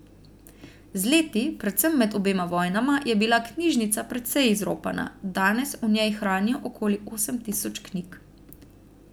Z leti, predvsem med obema vojnama, je bila knjižnica precej izropana, danes v njej hranijo okoli osem tisoč knjig.